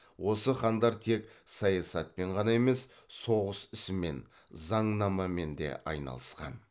осы хандар тек саясатпен ғана емес соғыс ісімен заңнамамен де айналысқан